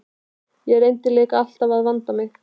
Ég reyni líka alltaf að vanda mig.